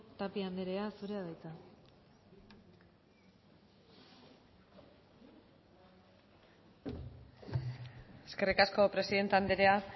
tapia andrea zurea da hitza eskerrik asko presidente andrea